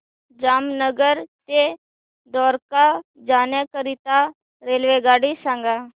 जामनगर ते द्वारका जाण्याकरीता रेल्वेगाडी सांग